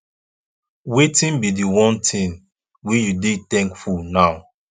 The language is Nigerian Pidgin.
wetin be di one thing wey you dey thankful now